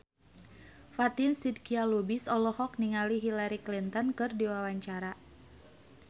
Fatin Shidqia Lubis olohok ningali Hillary Clinton keur diwawancara